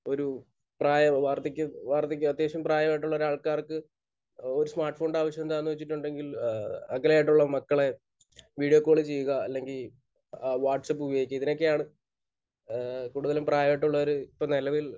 ഒരു പ്രായം വാർധക്യ വാർധക്യ അത്യാവശ്യം പ്രായമായിട്ടുള്ള ഒരു ആൾക്കാർക്ക് ഒരു സ്മാർട്ഫോണിന്റെ ആവശ്യം എന്താണെന്ന് വെച്ചിട്ടുണ്ടെങ്കിൽ ഏഹ് അകലെയായിട്ടുള്ള മക്കളെ വീഡിയോ കോൾ ചെയ്യുക അല്ലെങ്കിൽ വാട്സാപ്പ് ഉപയോഗിക്കുക. ഇതിനൊക്കെയാണ് കൂടുതലും പ്രായമായിട്ടുള്ളവർ ഇപ്പോൾ നിലവിൽ